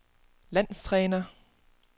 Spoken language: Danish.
landstræner